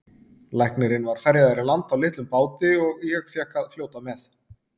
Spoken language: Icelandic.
Læknirinn var ferjaður í land á litlum báti og ég fékk að fljóta með.